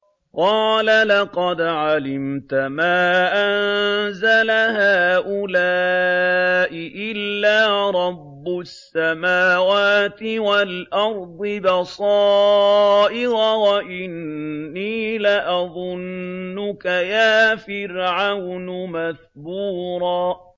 قَالَ لَقَدْ عَلِمْتَ مَا أَنزَلَ هَٰؤُلَاءِ إِلَّا رَبُّ السَّمَاوَاتِ وَالْأَرْضِ بَصَائِرَ وَإِنِّي لَأَظُنُّكَ يَا فِرْعَوْنُ مَثْبُورًا